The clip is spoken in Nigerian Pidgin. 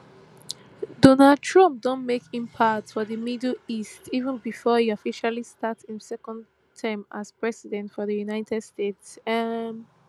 donald trump don make impact for di middle east even bifor e officially start im second term as president of di united states um